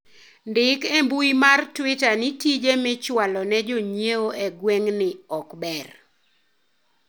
ndik e mbui mar twita ni tije michwalo ne jonyiewo e gweng'ni ok ber